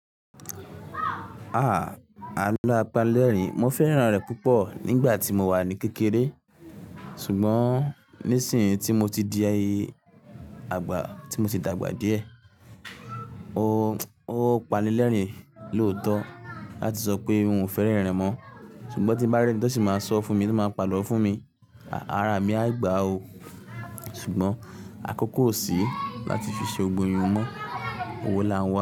Ah! Àlọ apalẹ́rìn, mo fẹ́ràn rẹ̀ púpọ̀ nígbà tí mo wà ní kékeré. Ṣùgbọ́n nísìínyi tí mo ti di, àgbà, tí mo ti dàgbà díẹ̀, ó panilẹ́rìn lòótọ láti sọ pé n ò fẹ́ rerin mọ́. Ṣùgbọ́n tí bá rí ẹni tó sì máa sọ fún mi, tó máa pa àlọ́ fún mi, ara mi á gbà ó. Ṣùgbọ́n àkókò ò sí láti fi ṣe ogboyun mọ́, owó la ń wá.